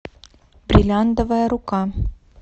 бриллиантовая рука